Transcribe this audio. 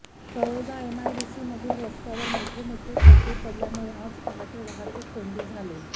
तळोजा एमआयडीसीमधील रस्त्यावर मोठमोठे खड्डे पडल्यामुळे आज पहाटे वाहतूककोंडी झाली